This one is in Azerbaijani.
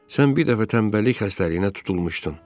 Sən bir dəfə tənbəllik xəstəliyinə tutulmuşdun.